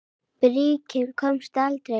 Bríkin komst aldrei lengra.